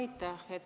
Aitäh!